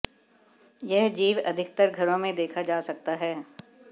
यह जीव अधिकतर घरों में देखा जा सकता है